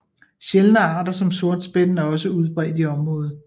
Sjældne arter som sortspætten er også udbredt i området